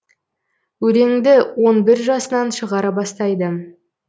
өлеңді он бір жасынан шығара бастайды